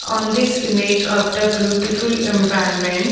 On this image of the beautiful environment --